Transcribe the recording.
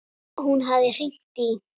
Hún hafði hringt í